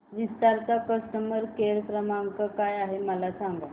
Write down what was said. विस्तार चा customer care क्रमांक काय आहे मला सांगा